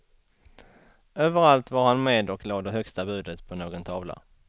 Överallt var han med och lade högsta budet på någon tavla.